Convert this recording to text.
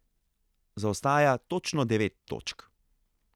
Zaostaja točno devet točk.